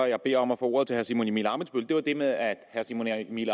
jeg beder om at få ordet til herre simon emil ammitzbøll er det med at herre simon emil